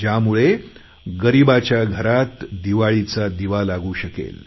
ज्यामुळे गरीबाच्या घरात दिवाळीचा दिवा लागू शकेल